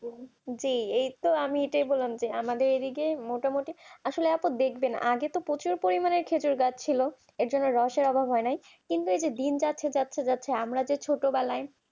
যে এইতো আমি এটাই বললাম যে আমাদের এদিকে মোটামুটি আসলে অন্তত প্রচুর পরিমাণ খেজুর গাছ ছিল এটা আছে আমার মনে। কিন্তু গাছে গাছে গাছে আমরা ছোটবেলায়